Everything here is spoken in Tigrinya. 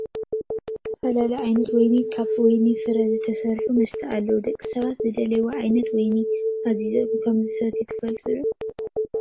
ዝተፈላለዩ ዓይነት ዋይን ካብ ወይኒ ፍረ ዝስራሕ መስተ ኣለው። ደቂ ሰባት ዝደለይዎ ዓይነት ዋይን ኣዚዞም ከም ዝሰትዩ ትፈልጡ ዶ ?